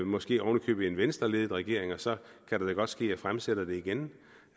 måske oven i købet en venstreledet regering og så kan det da godt ske at jeg fremsætter det igen